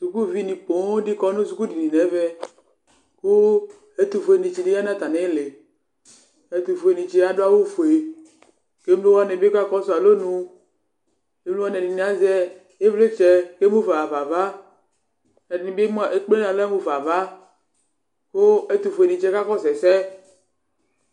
skʋlvi ni pɔɔm kɔnʋ skʋl dini nʋ ɛmɛ kʋ ɛtʋ ƒʋɛ tsi di dʋ atami ili ,ɛtʋƒʋɛ ni tsiɛ adʋ awʋ ƒʋɛ kʋ ɛmlɔ wani bi kakɔsʋ alɔnʋ, ɛmlɔ wani ɛdi azɛ ivlitsɛ kʋ ɛmʋƒa haƒa aɣa, ɛdini bi ɛkplɛ aɣa mʋƒa aɣa kʋ ɛtʋ ƒʋɛ ni tsiɛ ka kɔsʋ ɛsɛ